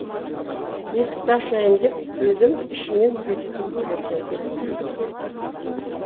есікті ашайын деп едім ішінен бекітулі тұр екен